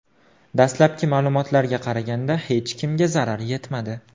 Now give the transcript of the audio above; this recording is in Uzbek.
Dastlabki ma’lumotlarga qaraganda hech kimga zarar yetmadi.